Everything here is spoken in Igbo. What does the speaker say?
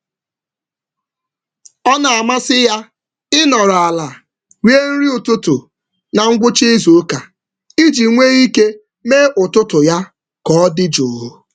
Ọ na-ahọrọ nri nọdụ ala na ngwụcha izu iji nwee ụtụtụ dị nwayọọ.